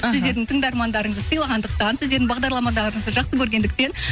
сіздердің тыңдармандарыңызды сыйлағандықтан сіздердің бағдарламаларыңызды жақсы көргендіктен